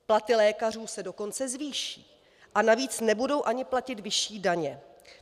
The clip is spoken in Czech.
Platy lékařů se dokonce zvýší a navíc nebudou ani platit vyšší daně.